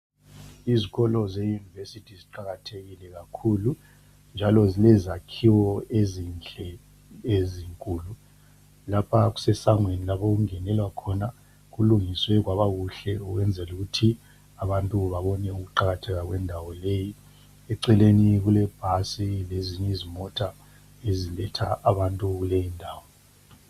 Izkolo ze univesithi ziqakathekile kakhulu njalo zile zakhiwo ezinhle ezinkulu. Lapha kusesangweni lapho kungenelwa khona. Kulungiswe kwaba kuhle ukwenzela ukuthi abantu babone ukuqakatheka kwendawo leyi. Eceleni kule bhasi lezinye izmota eziletha abantu kuleyi ndawo.